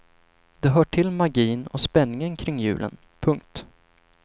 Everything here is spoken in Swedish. Det hör till magin och spänningen kring julen. punkt